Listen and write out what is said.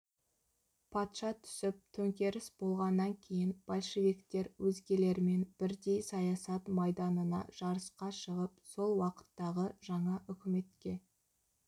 патша түсіп төңкеріс болғаннан кейін большевиктер өзгелермен бірдей саясат майданына жарысқа шығып сол уақыттағы жаңа үкіметке